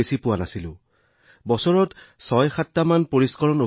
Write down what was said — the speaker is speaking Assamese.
বহুতো লোকে যোগদান কৰা নাছিল এনে বহুতো লোক আছিল যি সমৰ্থন কৰিবলৈ সক্ষম হোৱা নাছিল